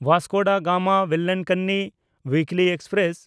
ᱵᱟᱥᱠᱳ ᱰᱟ ᱜᱟᱢᱟ–ᱵᱮᱞᱟᱱᱠᱟᱱᱱᱤ ᱩᱭᱤᱠᱞᱤ ᱮᱠᱥᱯᱨᱮᱥ